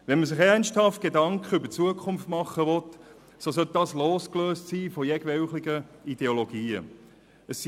Will man sich ernsthafte Gedanken über die Zukunft machen, sollte das losgelöst von jeglichen Ideologien getan werden.